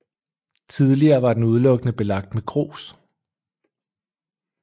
Tidligere var den udelukkende belagt med grus